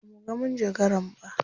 Ba muga manjagaran ba.